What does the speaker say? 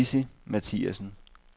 Lizzi Mathiasen